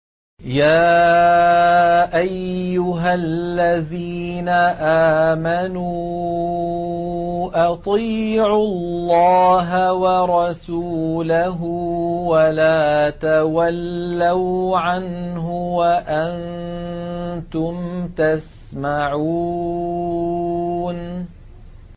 يَا أَيُّهَا الَّذِينَ آمَنُوا أَطِيعُوا اللَّهَ وَرَسُولَهُ وَلَا تَوَلَّوْا عَنْهُ وَأَنتُمْ تَسْمَعُونَ